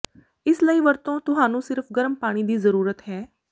ਇਸ ਲਈ ਵਰਤੋਂ ਤੁਹਾਨੂੰ ਸਿਰਫ਼ ਗਰਮ ਪਾਣੀ ਦੀ ਜ਼ਰੂਰਤ ਹੈ